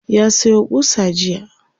ya Sayo ƙusa jiya